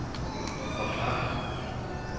forklare